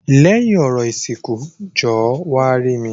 Lẹ́yìn orò ìsìnkú jọ̀ọ́ wá rí mi.